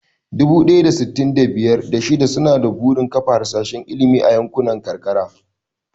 Dubu ɗaya da sittin da biyar, da shida suna da burin kafa harsashin ilimi a yankunan karkara.